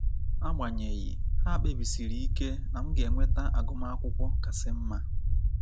Agbanyeghi, ha kpebisiri ike na m ga-enweta agụmakwụkwọ kasị mma.